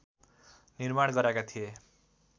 निर्माण गराएका थिए